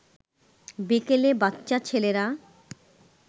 বিকেলে বাচ্চা ছেলেরা